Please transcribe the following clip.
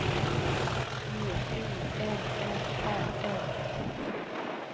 G U N N A R